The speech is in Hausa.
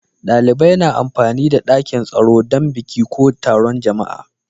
Dalibai na amfani da dakin taro dan biki ko taron jama'a.